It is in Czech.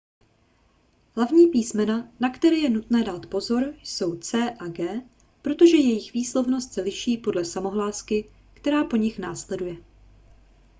hlavní písmena na které je nutné dát si pozor jsou c a g protože jejich výslovnost se liší podle samohlásky která po nich následuje